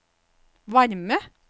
varme